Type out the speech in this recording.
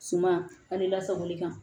Suma ani lasagoli kan